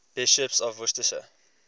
bishops of worcester